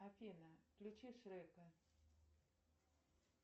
афина включи шрека